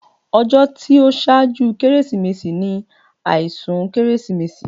Ọjọ́ tí ó ṣáájú Kérésìmesì ni àìsùn Kérésìmesì